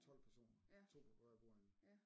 12 personer 2 på hver bordende